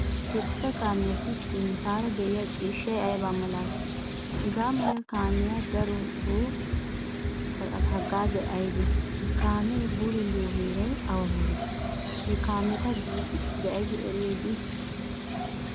Ha bootaa kaamiyassi sinttara deiyaa ciishshay ayba malati? Hagaamala kaamiyaasi darotto hagaazay aybee? Ha kaame bululiyo heeray awa heere? Ha katama biidi eriyay dei?